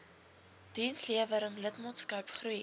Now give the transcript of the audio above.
dienslewering lidmaatskap groei